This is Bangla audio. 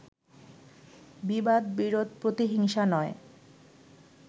বিবাদ-বিরোধ-প্রতিহিংসা নয়